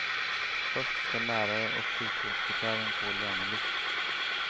Först ska lärare och sjukvårdsbiträden få lönelyft.